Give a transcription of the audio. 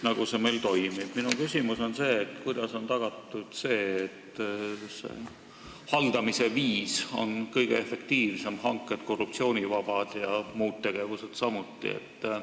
Aga kuidas on tagatud, et haldamise viis on efektiivne, hanked korruptsioonivabad ja muud tegevused samuti?